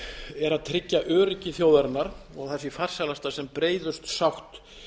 er að tryggja öryggi þjóðarinnar og það sé farsælast að sem breiðust sátt